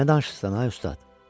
Nə danışırsan, ay ustad?